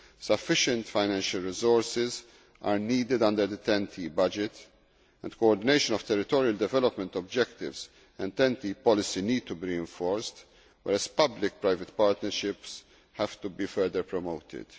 Sufficient financial resources are needed under the TEN T budget and coordination of territorial development objectives and TEN T policy need to be enforced, whereas public private partnerships have to be further promoted.